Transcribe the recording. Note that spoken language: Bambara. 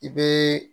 I be